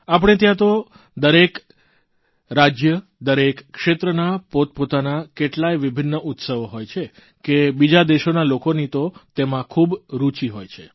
આપણે ત્યાં તો દરેક રાજય દરેક ક્ષેત્રના પોતપોતાના કેટલાય વિભિન્ન ઉત્સવ હોય છે કે બીજા દેશોના લોકોની તો તેમાં ખૂબ રૂચિ હોય છે